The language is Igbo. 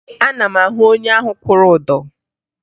Ee, ana m ahụ onye ahụ kwụrụ ụdọ